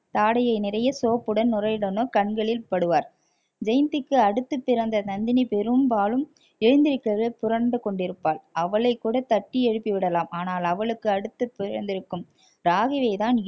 தாடையை நிறைய soap உடன் நுரையுடணும் கண்களில் படுவார் ஜெயந்திக்கு அடுத்து பிறந்த நந்தினி பெரும்பாலும் எழுந்திருக்கிறதில் புரண்டு கொண்டிருப்பாள் அவளை கூட தட்டி எழுப்பி விடலாம் ஆனால் அவளுக்கு அடுத்து பிறந்திருக்கும் ராகினியை தான்